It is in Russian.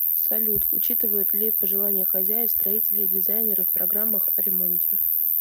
салют учитывают ли пожелания хозяев строители и дизайнеры в программах о ремонте